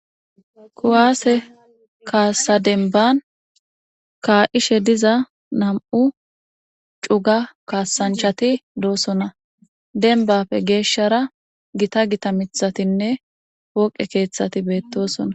Kuwaase kaasa denban kaa'ishe diza nam'u cuga kaasanchati doosona denbappe geeshshara gita gita mithatinne pooqe keeththati beettosona.